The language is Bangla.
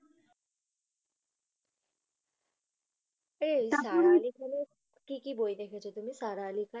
এ সারা আলি খানের কি কি বই দেখেছো তুমি সারা আলি খান?